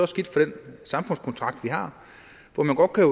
skidt for den samfundskontrakt vi har hvor man godt kan